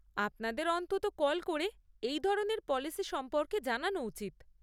আপনাদের অন্ততঃ কল করে এই ধরনের পলিসি সম্পর্কে জানানো উচিত।